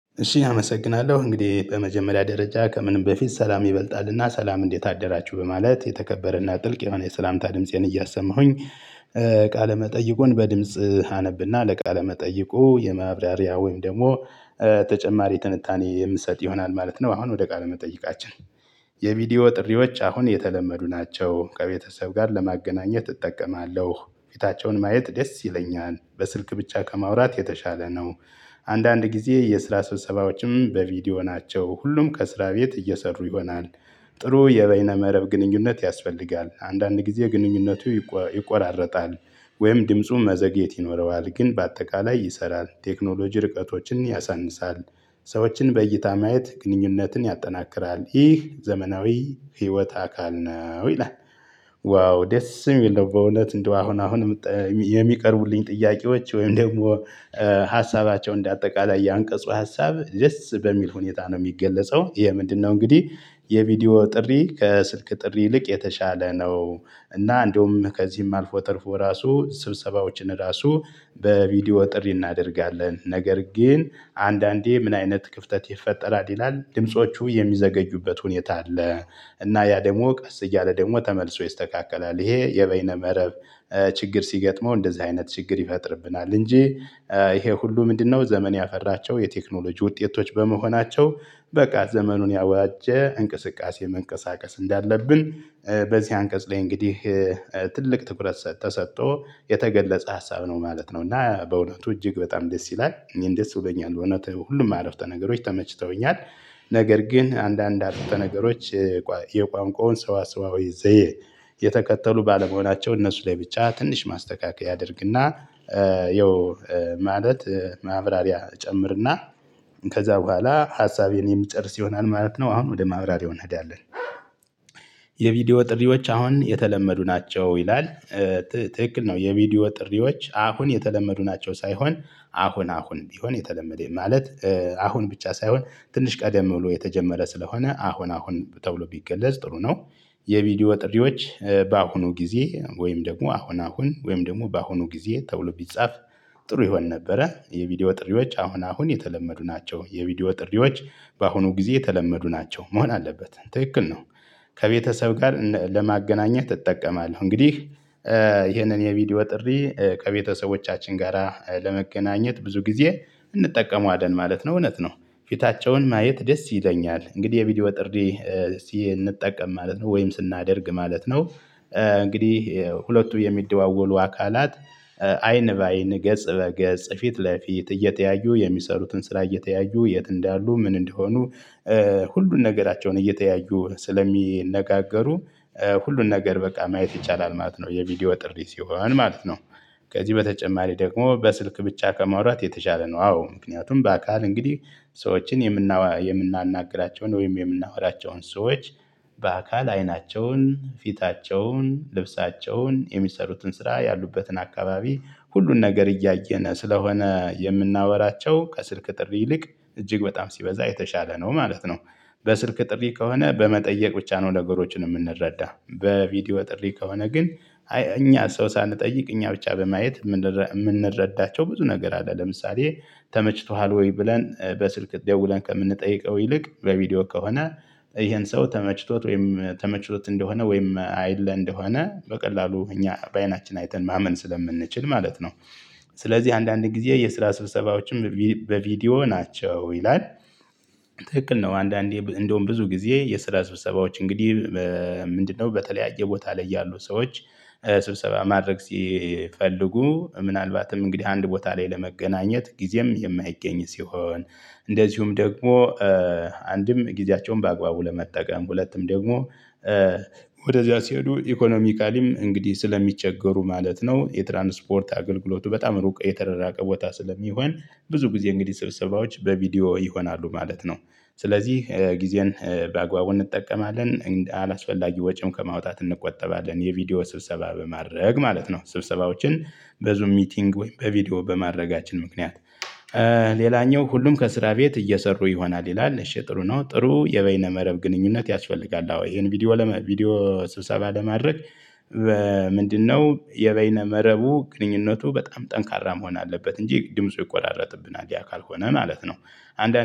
እሺ አመሰግናለሁ እንግዲህ በመጀመሪያ ደረጃ ከምንም በፊት ሰላም ይበልጣል እና ሰላም እንዴት አደራችሁ በማለት የተከበረ እና ጥልቅ የሆነ የሰላምታ ድምፄን እያሰማሁኝ ቃለ መጠየቁን በድምጽ አነብ እና ለቃለ መጠየቁ የማብራሪያ ወይም ደግሞ ተጨማሪ ትንታኔ የምሰጥ ይሆናል ማለት ነው። አሁን ወደ ቃል መጠይቃችን። የቪዲዮ ጥሪዎች አሁን የተለመዱ ናቸው ከቤተሰብ ጋር ለማገናኘት እጠቀማለሁ ፊታቸውን ማየት ደስ ይለኛል በስልክ ብቻ ከማውራት የተሻለ ነው። አንዳንድ ጊዜ የስራ ሰብሰባዎችም በቪዲዮ ናቸው ሁሉም ከስራ ቤት እየሰሩ ይሆናል። ጥሩ የበይነ መረብ ግንኙነት ያስፈልጋል አንዳንድ ጊዜ ግንኙነቱ ይቆራረጣል ወይም ድምፁ መዘግየት ይኖረዋል ግን በአጠቃላይ ይሰራል ቴክኖሎጂ ርቀቶችን ያሳንሳል። ሰዎችን በእይታ ማየት ግንኙነትን ያጠናክራል ይህ ዘመናዊ ህይወት አካል ነው ይላል። ዋው ደስ የሚል ነው። በእውነት እንደው አሁን አሁን። የሚቀርቡልኝ ጥያቄዎች ወይም ደግሞ። ሀሳባቸው እንደ አጠቃላይ ያንቀጹ ሀሳብ ደስ በሚል ሁኔታ ነው የሚገለጸው ይሄ ምንድነው? እንግዲህ የቪዲዮ ጥሪ ከስልክ ጥሪ ይልቅ የተሻለ ነው። እና እንደውም ከዚህም አልፎ ተርፎ ራሱ ስብሰባዎችን ራሱ። በቪዲዮ ጥሪ እናደርጋለን ነገር ግን አንዳንዴ ምን አይነት ክፍተት ይፈጠራል ይላል ድምጾቹ የሚዘገዩበት ሁኔታ አለ። እና ያ ደግሞ ቀስ እያለ ደግሞ ተመልሶ ይስተካከላል ይሄ የበይነ መረብ ችግር ሲገጥመው እንደዚህ አይነት ችግር ይፈጥርብናል እንጂ። ይሄ ሁሉ ምንድነው ዘመን ያፈራቸው የቴክኖሎጂ ውጤቶች በመሆናቸው። በቃ ዘመኑን የዋጀ እንቅስቃሴ መንቀሳቀስ እንዳለብን። በዚህ አንቀጽ ላይ እንግዲህ ትልቅ ትኩረት ተሰጥቶ የተገለጸ ሀሳብ ነው ማለት ነው። እና በእውነቱ እጅግ በጣም ደስ ይላል እኔ እንደዚህ እውነት ሁሉም አረፍተ ነገሮች ተመችተውኛል። ነገር ግን አንዳንድ አርፍተ ነገሮች። የቋንቋውን ሰሰዋዊ ዘየ። የተከተሉ ባለመሆናቸው እነሱ ላይ ብቻ ትንሽ ማስተካከያ አደርግ እና። ያው ማለት ማብራሪያ ጨምርና። ከዛ በኋላ ሀሳቤን የምጨርስ ይሆናል ማለት ነው። አሁን ወደ ማብራሪያው እንሄዳለን። ጥሪዎች አሁን የተለመዱ ናቸው ይላል። ትክክል ነው የቪዲዮ ጥሪዎች አሁን የተለመዱ ናቸው ሳይሆን አሁን አሁን ቢሆን የተለመደኝ ማለት አሁን ብቻ ሳይሆን ትንሽ ቀደም ብሎ የተጀመረ ስለሆነ አሁን አሁን ተብሎ ቢገለጽ ጥሩ ነው። የቪዲዮ ጥሪዎች በአሁኑ ጊዜ ወይም ደግሞ አሁን አሁን ወይም ደግሞ በአሁኑ ጊዜ ተበሎ ቢጻፍ። ጥሩ ይሆን ነበረ የቪዲዮ ጥሪዎች አሁን አሁን የተለመዱ ናቸው የቪዲዮ ጥሪዎች በአሁኑ ጊዜ የተለመዱ ናቸው መሆን አለበት ትክክል ነው። ከቤተሰብ ጋር ለማገናኘት እጠቀማለሁ እንግዲህ። ይህንን የቪዲዮ ጥሪ ከቤተሰቦቻችን ጋራ ለመገናኘት ብዙ ጊዜ እንጠቀመዎለን ማለት ነው እውነት ነው። ፊታቸውን ማየት ደስ ይለኛል እንግዲህ የቪዲዮ ጥርዴ ሲንጠቀም ማለት ነው ወይም ስናደርግ ማለት ነው። እንግዲህ ሁለቱ የሚደዋወሉ አካላት አይን በአይን ገጽ በገጽ ፊት ለፊት እየተያዩ የሚሰሩትን ስራ እየተያዩ የት እንዳሉ ምን እንደሆኑ። ሁሉን ነገራቸውን እየተያዩ ስለሚነጋገሩ። ሁሉን ነገር በቃ ማየት ይቻላል ማለት ነው የቪዲዮ ጥሪ ሲሆን ማለት ነው። ከዚህ በተጨማሪ ደግሞ በስልክ ብቻ ከማውራት የተሻለ ነው አዎ ምክንያቱም በአካል እንግዲህ ሰዎችን የምናው የምናናግራቸውን ወይም የምናወራቸውን ሰዎች በአካል አይናቸውን ፊታቸውን ልብሳቸውን የሚሰሩትን ስራ ያሉበትን አካባቢ ሁሉን ነገር እያየነ ስለሆነ የምናወራቸው ከስልክ ጥሪ ይልቅ እጅግ በጣም ሲበዛ የተሻለ ነው ማለት ነው። በስልክ ጥሪ ከሆነ በመጠየቅ ብቻ ነው ነገሮችን የምንረዳ በቪዲዮ ጥሪ ከሆነ ግን። አይ እኛ ሰው ሳንጠይቅ እኛ ብቻ በማየት የምንረዳቸው ብዙ ነገር አለ። ለምሳሌ ተመችቶሃል ወይ ብለን በስልክ ደውለን ከምንጠይቀው ይልቅ በቪዲዮ ከሆነ። ይሄን ሰው ተመችቶት ወይም ተመችቶት እንደሆነ ወይም አይለ እንደሆነ በቀላሉ እኛ በአይናችን አይተን ማመን ስለምንችል ማለት ነው። ስለዚህ አንዳንድ ጊዜ የስራ ስብሰባዎችም በቪዲዮ ናቸው ይላል። ትክክል ነው። አንዳንዴ እንደውም ብዙ ጊዜ የስራ ስብሰባዎች እንግዲህ። ምንድነው በተለያየ ቦታ ላይ ያሉ ሰዎች። ስብሰባ ማድረግ ሲፈልጉ ምናልባትም እንግዲህ አንድ ቦታ ላይ ለመገናኘት ጊዜም የማይገኝ ሲሆን። እንደዚሁም ደግሞ አንድም ጊዜያቸውን በአግባቡ ለመጠቀም ሁለቱም ደግሞ። ወደዚያ ሲሄዱ ኢኮኖሚካሊም እንግዲህ ስለሚቸገሩ ማለት ነው። የትራንስፖርት አገልግሎቱ በጣም ሩቅ የተረራቀ ቦታ ስለሚሆን። ብዙ ጊዜ እንግዲህ ስብሰባዎች በቪዲዮ ይሆናሉ ማለት ነው። ስለዚህ ጊዜን በአግባቡ እንጠቀማለን አላስፈላጊ ወጪም ከማውጣት እንቆጠባለን የቪዲዮ ስብሰባ በማድረግ ማለት ነው ስብሰባዎችን። በዙም ሚቲንግ ወይም በቪዲዮ በማድረጋችን ምክንያት። ሌላኛው ሁሉም ከስራ ቤት እየሰሩ ይሆናል ይላል። እሺ ጥሩ ነው። ጥሩ የበይነ መረብ ግንኙነት ያስፈልጋል አዎ ይሄን ቪዲዮ ቪዲዮ ስብሰባ ለማድረግ። በምንድነው የበይነ መረቡ ግንኙነቱ በጣም ጠንካራ መሆን አለበት እንጂ ድምፁ ይቆራረጥብናል እኛ ካልሆነ ማለት ነው። አንዳንዴ